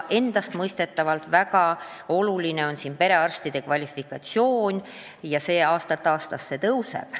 Endastmõistetavalt on väga oluline perearstide kvalifikatsioon ja see aastast aastasse paraneb.